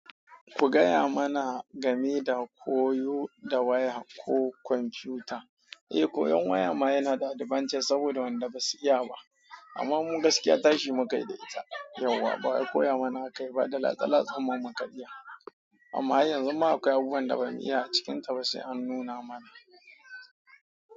Ku gaya mana game da koyo da waya ko kwamfuta. Eh koyon waya ma yana da albantace saboda wanda basu iya ba amma mu gaskiya tashi mu kai da ita yauwa. Bawai koya mana akayi ba, da latse latsenmu muka iya amma yanzu ma akwai abubuwan da ba mu iya a cikinta ba sai an nuna mana.